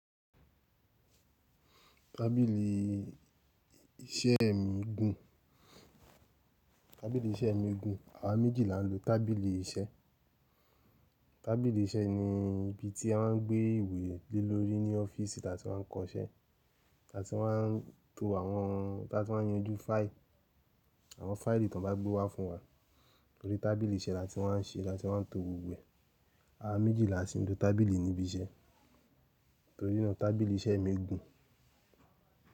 Tábìlì iṣẹ́ mi gùn. Tábìlì iṣẹ́ mi gùn. Àwa méjì là ń lo tábìlì iṣẹ́. Tábìlì iṣẹ́ ni ibi tí a máa ń gbé ìwé lé lórí ní ọ́fíìsì láti máa ń kọ iṣẹ́. Táti máa ń to àwọn, tati máa ń yanjú fáìlì. Àwọn fáìlì tan bá gbé wá fún wa. Torí tábìlì iṣẹ́ la ti máa ń ṣe, láti máa ń to gbobgbo e. Àwa méjì làá sì ń lo tábìlì níbi iṣẹ́. Torí náà tábìlì iṣẹ́ mi gùn.